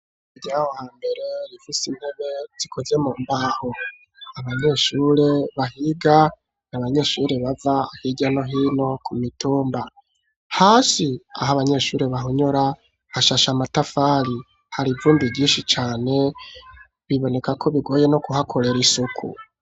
Vyawa mbere rifise inkube zikoze mu mbaho abanyeshure bahiga ni abanyeshuri bava ahira no hino ku mitumba hasi aho abanyeshuri bahonyora ashasha amatafari hari ivundi rinshi cane biboneka ko bigoye no kuhakorera isuku.